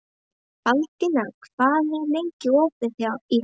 Baldína, hvað er lengi opið í HR?